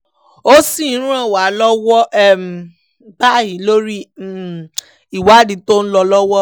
ó sì ń ràn wá lọ́wọ́ báyìí lórí àwọn ìwádìí tó ń lọ lọ́wọ́